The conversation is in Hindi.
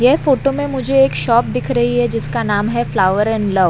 ये फोटो में मुझे एक शॉप दिख रही है जिसका नाम है फ्लावर एंड लव --